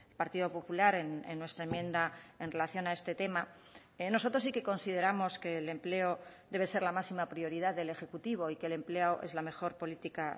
partido popular en nuestra enmienda en relación a este tema nosotros sí que consideramos que el empleo debe ser la máxima prioridad del ejecutivo y que el empleo es la mejor política